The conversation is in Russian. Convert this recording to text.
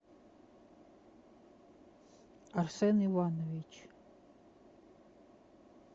арсен иванович